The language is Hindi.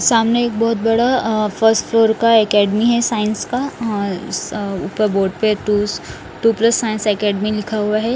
सामने एक बहुत बड़ा अ फर्स्ट फ्लोर का एकेडमी है साइंस का हअ अ ऊपर बोर्ड पे टूस टू प्लस साइंस एकेडमी लिखा हुआ है।